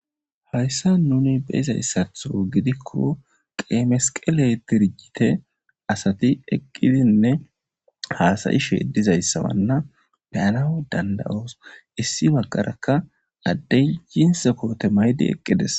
Hayssa nuni beizayssatho gidikko qeemesqele tirjite asati eqqidinne haasayi sheedizayssawanna beyana danda7os issi baggarakka addey yinse koote maydi eqqides.